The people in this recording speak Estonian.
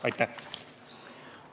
Aitäh!